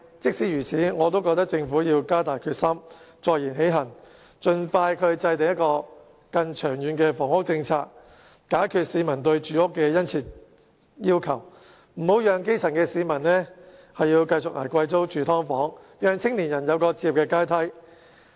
儘管如此，我仍覺得政府必須加大決心，坐言起行，盡快制訂更長遠的房屋政策，解決市民對住屋的殷切需求，別讓基層市民繼續捱貴租、住"劏房"，並讓青年人有置業的階梯。